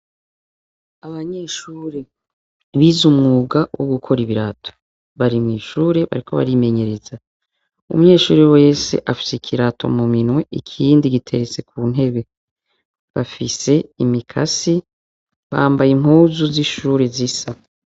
Abanyeshure bize umwuga wogukora ibirato bari mw'ishure bariko barimenyereza umunyeshure wese afise ikirato muminwe ikindi giteretse kuntebe bafise imikasi bamabaye impuzu zishure zisa.